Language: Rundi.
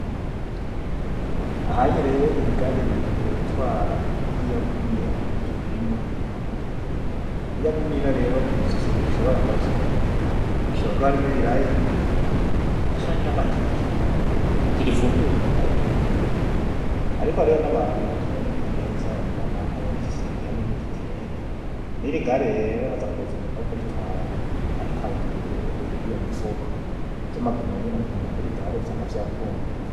Aha'nye rero iri gari rigiye gutwara ririya gunira ririmwo ibintu. Iriya gunira rero uzi ikintu gishobora kuba kirimwo, gishobora kuba irimwo ibiraya, canke amateke. Ntigifunduye ndabe ibintu birimwo, ariko hariyo nabantu bataboneka neza, umu mama aboneka ikirenge hamwe nigitenge, nirigari rero haza kuza umuntu wokuritwara atwaye iriya mifuko, arya magunira aragenda kuriya gare vyanka vyakunda.